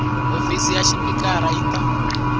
hofisi ya xipikara yi ta